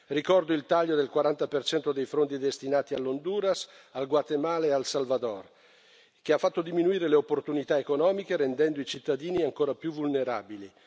Ricordo il taglio del 40 dei fondi destinati all'Honduras, al Guatemala e al Salvador, che ha fatto diminuire le opportunità economiche rendendo i cittadini ancora più vulnerabili.